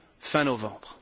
fin novembre